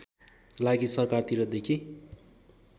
लागि सरकारतिर देखि